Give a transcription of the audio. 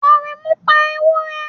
Aremu pa ewure